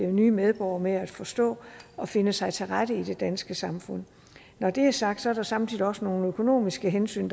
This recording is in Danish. nye medborgere med at forstå og finde sig til rette i det danske samfund når det er sagt er der samtidig også nogle økonomiske hensyn